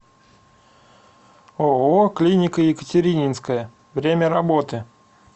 ооо клиника екатерининская время работы